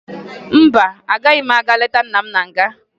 Mba, agaghị m aga leta nna m na nga